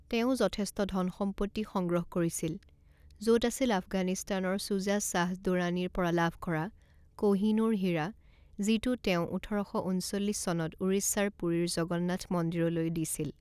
তেওঁ যথেষ্ট ধন সম্পত্তি সংগ্ৰহ কৰিছিল য'ত আছিল আফগানিস্তানৰ ছুজা শ্বাহ দুৰানীৰ পৰা লাভ কৰা কোহ ই নুৰ হীৰা যিটো তেওঁ ওঠৰ শ ঊনচল্লিছ চনত ওড়িশাৰ পুৰীৰ জগন্নাথ মন্দিৰলৈ দিছিল।